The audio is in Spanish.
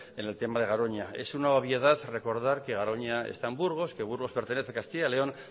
en el tema de garoña es una obviedad recordar que garoña está en burgos que burgos pertenece a castilla y león